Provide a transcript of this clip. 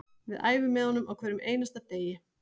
Við æfum með honum á hverjum einasta degi